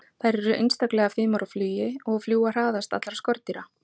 þær eru einstaklega fimar á flugi og fljúga hraðast allra skordýra